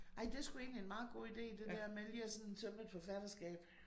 Ej det sgu egentlig en meget god ide det der med lige at sådan tømme et forfatterskab